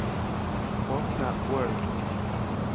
Åpne Word